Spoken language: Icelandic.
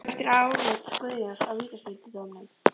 Hvert var álit Guðjóns á vítaspyrnudómnum?